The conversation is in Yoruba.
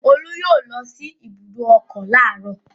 Olú yóò lọ sí ibùdó ọkọ̀ láàárọ̀.